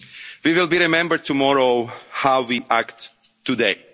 instincts. We will be remembered tomorrow for how